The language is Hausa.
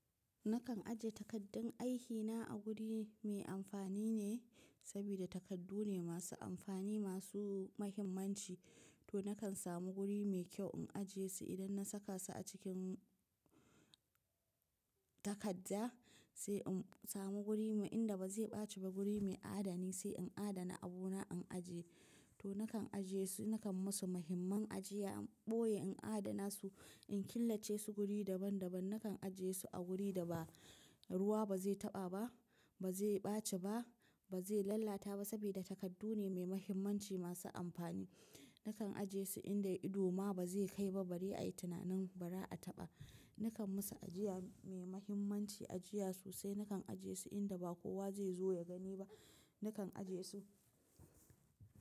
Nakan aje takaddun aikina a guri me amfani ne, sabida takardu ne masu amfani, masu mahimmanci. To nakan samu guri mai kyau in aje su. Idan na saka su a cikin takadda sai in samu guri me inda ba zai ɓaci ba, guri mai adani sai in adana abu na in ajiye. To nakan ajiye su, nakan musu muhimman ajiya, boye in adana su, in killace su wuri daban daban. Nakan ajiye su a wuri da ba ruwa ba zai taɓa ba, ba zai ɓaci ba, ba zai lallata ba sabida takardu ne mai muhimmanci, masu amfani. Nakan ajiye su inda ido ma ba zai kai ba, barie a yi tunanin bara a taɓa. Nakan musu ajiya mai muhimmanci, ajiya sosai. Nakan ajiye su inda ba kowa zai zo ya gani ba, nakan ajiye su.